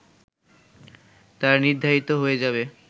তা নির্ধারিত হয়ে যাবে